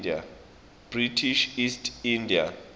british east india